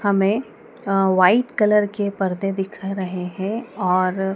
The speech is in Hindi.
हमें अ व्हाइट कलर के पर्दे दिखा रहे हैं और--